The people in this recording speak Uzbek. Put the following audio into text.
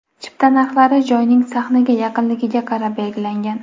Chipta narxlari joyning sahnaga yaqinligiga qarab belgilangan.